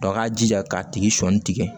a ka jija k'a tigi sɔli tigɛ